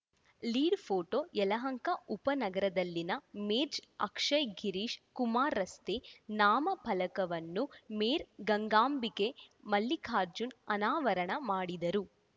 lead photo Yelahanka ಉಪನಗರದಲ್ಲಿನ ಮೇಜ್ ಅಕ್ಷಯ್‌ ಗಿರೀಶ್‌ ಕುಮಾರ್‌ ರಸ್ತೆ ನಾಮ ಫಲಕವನ್ನು ಮೇರ್‌ ಗಂಗಾಂಬಿಕೆ ಮಲ್ಲಿಕಾರ್ಜುನ್‌ ಅನಾವರಣ ಮಾಡಿದರು